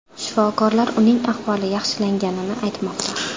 Shifokorlar uning ahvoli yaxshilanganini aytmoqda.